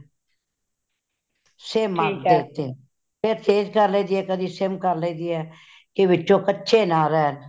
sim ਅੱਗ ਤੇ , ਫੇਰ ਤੇਜ ਕਰ ਲਈ ਦੀ ,ਕਦੀ sim ਕਰ ਲਈ ਦੀ ਹੈ , ਕੀ ਵਿੱਚੋ ਕੱਚੇ ਨਾ ਰਹਿਨ